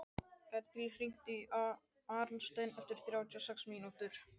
Edil, hringdu í Arnstein eftir þrjátíu og sex mínútur.